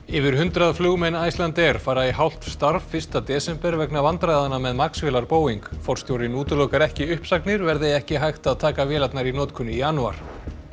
yfir hundrað flugmenn Icelandair fara í hálft starf fyrsta desember vegna vandræðanna með Max vélar Boeing forstjórinn útilokar ekki uppsagnir verði ekki hægt að taka vélarnar í notkun í janúar